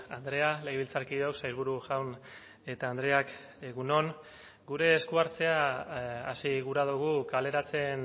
andrea legebiltzarkideok sailburu jaun eta andreak egun on gure esku hartzea hasi gura dugu kaleratzen